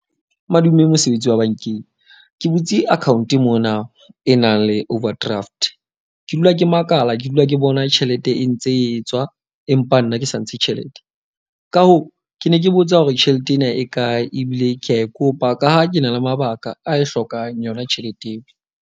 Madume mosebetsi wa bankeng. Ke butse account mona e nang le overdraft. Ke dula ke makala, ke dula ke bona tjhelete e ntse e tswa. Empa nna ke sa ntshe tjhelete. Ka hoo, ke ne ke botsa hore tjhelete ena e kae. Ebile ke a e kopa ka ha ke na le mabaka a e hlokang yona tjhelete eo.